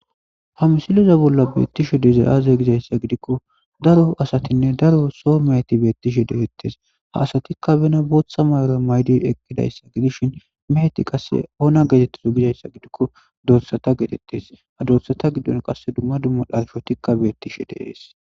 ha misiliza bolla beettishu deze aaze gizayssa gidikko daro asatinne daro so meheti beettishe detettes ha asatikka bena bootha may7ora maydi eqqidayssa gidishin meheti qasse oona geetettizo gizayssa gidikko dorsata getettes ha dorsata giddon qasse dumma dumma dharfotikka beettishe deees